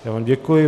Já vám děkuji.